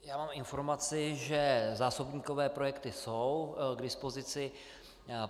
Já mám informaci, že zásobníkové projekty jsou k dispozici.